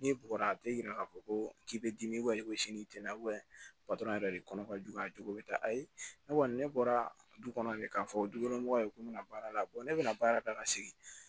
N'i bɔra a tɛ yira k'a fɔ ko k'i bɛ dimi sini na yɛrɛ de kɔnɔ ka jugu a jogo bɛ ta ayi ne kɔni ne bɔra du kɔnɔ de k'a fɔ du kɔnɔ mɔgɔ ye ko n bɛna baara la ne bɛna baara la ka segin